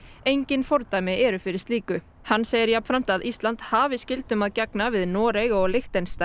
engin fordæmi eru fyrir slíku hann segir jafnframt að Ísland hafi skyldum að gegna við Noreg og Liechtenstein